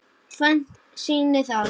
Tvennt sýni það.